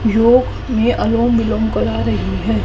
जो ये अनुलोम विलोम करा रही है।